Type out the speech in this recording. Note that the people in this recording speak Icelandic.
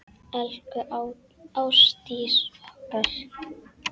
Elsku Ástdís okkar.